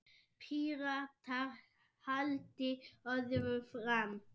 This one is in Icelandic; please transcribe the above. Píratar haldi öðru fram.